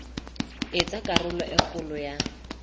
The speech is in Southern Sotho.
etsa karolo e kgolo ya